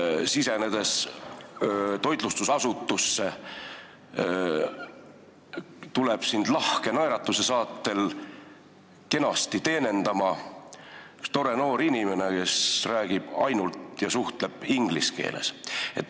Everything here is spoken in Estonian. Sa sisened toitlustusasutusse ja sind tuleb lahke naeratuse saatel kenasti teenindama üks tore noor inimene, kes räägib ja suhtleb ainult inglise keeles.